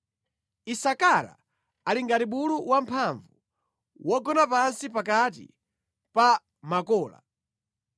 “Isakara ali ngati bulu wamphamvu wogona pansi pakati pa makola.